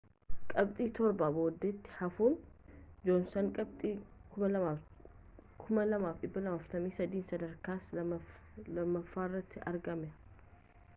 qabxii torba boodatti hafuun joonsan qabxii 2,243n sadarkaa lammaffaarratti argama